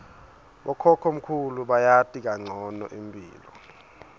bokhokhomkhulu bayati kancono imphilo